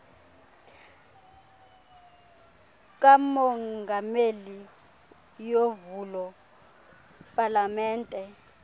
kamongameli yovulo palamente